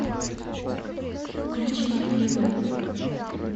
включи ливэй